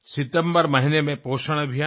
सितम्बर महीने में पोषण अभियान में